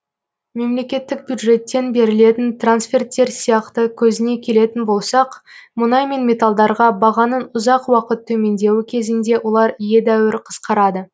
мемлекеттік бюджеттен берілетін трансферттер сияқты көзіне келетін болсақ мүнай мен металдарға бағаның ұзақ уақыт төмендеуі кезінде олар едәуір қысқарады